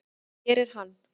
Hér er hann.